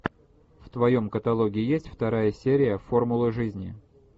в твоем каталоге есть вторая серия формулы жизни